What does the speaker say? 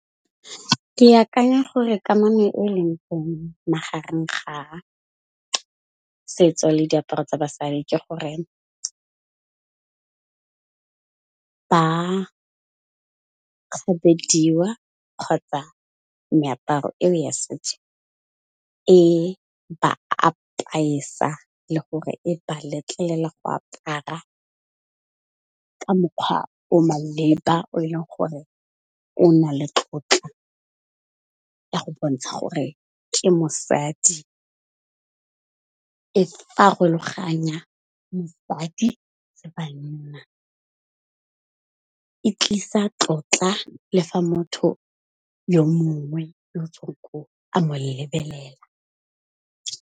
Ke akanya gore kamano e o e leng mo magareng ga setso le diaparo tsa basadi ke goreng, ba kgabediwa kgotsa meaparo eo ya setso e ba apesa le gore e ba letlelela go apara ka mokgwa o maleba o e leng gore o na le tlotla ya go bontsha gore ke mosadi, e farologanya mosadi le banna, e tlisa tlotla le fa motho yo mongwe yo tsoko a mo lebelela.